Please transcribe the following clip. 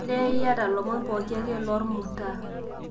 olly iyata olomoni pooki ake lormutaa